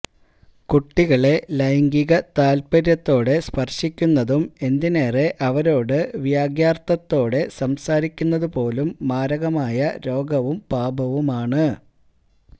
കുട്ടികളെ ലൈംഗിക താല്പര്യത്തോടെ സ്പർശിക്കുന്നതും എന്തിനേറെ അവരോട് വ്യഗ്യാർത്ഥത്തോടെ സംസാരിക്കുന്നതു പോലും മാരകമായ രോഗവും പാപവുമാണ്